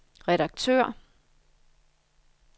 redaktør